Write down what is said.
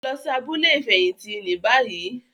Lọ sí abúlé ifẹhinti ní bayii!